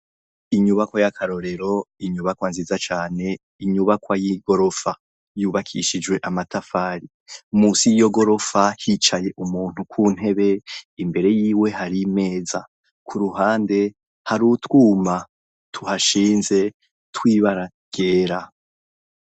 Inyubakwa ry'akarorero, inyubakwa nziza cane, inyubakwa y'igorofa. Yubakishijwe amatafari. Munsi y'iyo gorofa hicaye umuntu ku ntebe, imbere yiwe hari imeza. Ku ruhande, hari utwuma tuhashinze tw'ibara ryera.